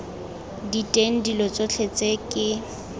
diteng dilo tsotlhe tse ke